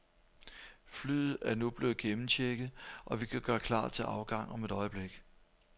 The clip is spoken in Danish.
Flyet er nu blevet gennemchecket, og vi kan gøre klar til afgang om et øjeblik.